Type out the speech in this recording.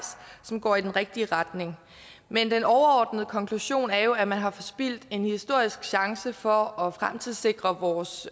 som går i den rigtige retning men den overordnede konklusion er jo at man har forspildt en historisk chance for at fremtidssikre vores